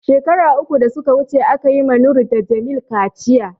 shekara uku da suka wuce, aka yi ma Noor da Jamil kaciya.